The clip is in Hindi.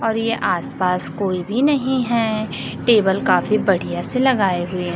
और ये आसपास कोई भी नहीं है टेबल काफी बढ़िया से लगाए हुए--